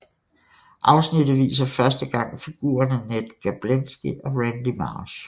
Afsnittet viser første gang figurerne Ned Gerblansky og Randy Marsh